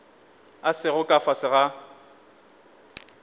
a sego ka fase ga